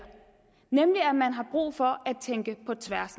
nemlig at man har brug for at tænke på tværs